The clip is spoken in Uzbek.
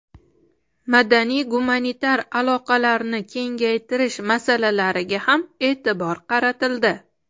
Madaniy-gumanitar aloqalarni kengaytirish masalalariga ham e’tibor qaratildi.